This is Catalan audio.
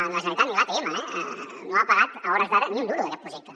ni la generalitat ni l’atm eh no han pagat a hores d’ara ni un duro d’aquest projecte